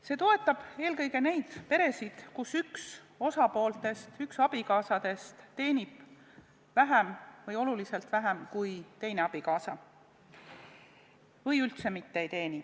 See toetab eelkõige neid peresid, kus üks osapooltest, üks abikaasadest teenib vähem või oluliselt vähem kui teine abikaasa või ei teeni üldse mitte.